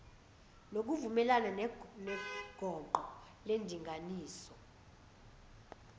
ngokuvumelana neqoqo lendinganiso